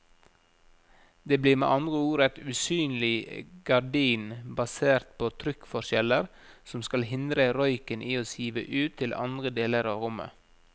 Det blir med andre ord et usynlig gardin basert på trykkforskjeller som skal hindre røyken i å sive ut til andre deler av rommet.